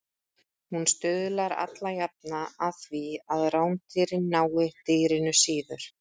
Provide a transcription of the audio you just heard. Hún stuðlar allajafna að því að rándýrin nái dýrinu síður.